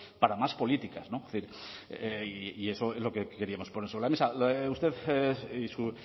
para más políticas no y eso es lo que queríamos poner sobre la mesa usted y su